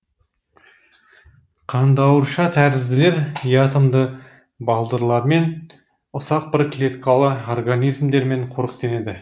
қандауыршатәрізділер диатомды балдырлармен ұсақ бір клеткалы организмдермен қоректенеді